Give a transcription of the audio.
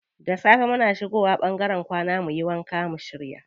Da safe muna shigo wa ɓangaren kwana muyi wanka mu shirya.